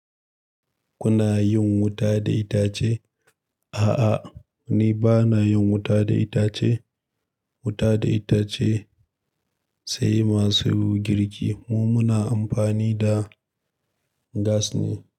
Kuna yin wuta da itace? A'a, ni ba na yin wuta da itace. Wuta da itace sai masu girki. Mu muna amfani da gas ne.